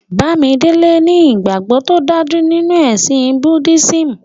Bàmídélè ní ìgbagbọ̀ tó dájú nínu ẹ̀sìn Búddisímù.